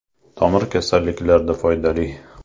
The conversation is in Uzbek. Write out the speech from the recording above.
Tomir kasalliklarida foydali.